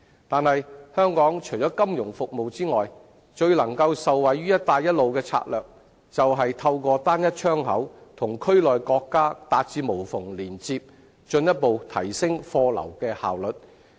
但是，香港除了金融服務外，最能夠受惠於"一帶一路"的策略便是透過"單一窗口"與區內國家達至無縫連接，進一步提升貨流的效率。